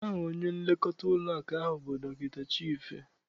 Aha onye nlekọta ụlọakụ ahụ bụ Dọkịta Chife.